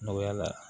Nɔgɔya la